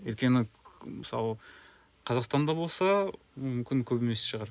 өйткені мысалы қазақстанда болса мүмкін көп емес шығар